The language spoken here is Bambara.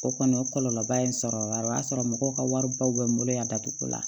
O kɔni o kɔlɔlɔba in sɔrɔ o y'a sɔrɔ mɔgɔw ka wari baw bɛ n bolo yan datugu la